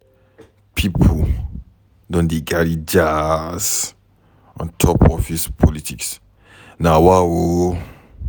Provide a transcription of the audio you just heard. Pipo don dey carry jazz on top office politics, nawaoo.